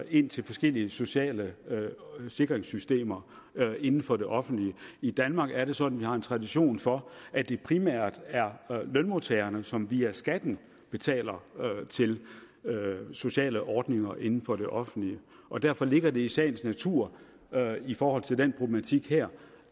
ind til forskellige sociale sikringssystemer inden for det offentlige i danmark er det sådan at vi har en tradition for at det primært er lønmodtagerne som via skatten betaler til sociale ordninger inden for det offentlige og derfor ligger det i sagens natur i forhold til den problematik her